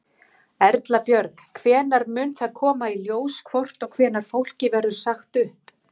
Erla Björg: Hvenær mun það koma í ljós hvort og hvenær fólki verður sagt upp?